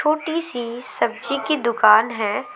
छोटी सी सब्जी की दुकान है।